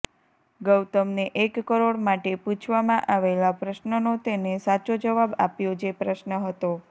ગૌતમને એક કરોડ માટે પૂછવામાં આવેલા પ્રશ્નનો તેને સાચો જવાબ આપ્યો જે પ્રશ્ન હતો